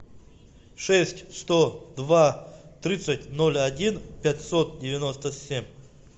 шесть сто два тридцать ноль один пятьсот девяносто семь